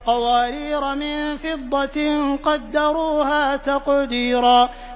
قَوَارِيرَ مِن فِضَّةٍ قَدَّرُوهَا تَقْدِيرًا